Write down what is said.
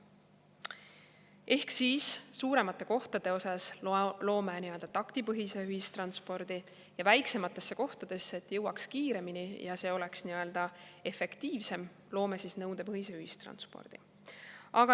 Ehk siis suuremate kohtade puhul loome nii-öelda taktipõhise ühistranspordi ja selleks, et jõuaks kiiremini väiksematesse kohtadesse ja et see oleks efektiivsem, loome nõudepõhise ühistranspordi.